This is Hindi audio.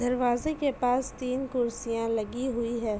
दरवाजे के पास तीन कुर्सियां लगी हुई है।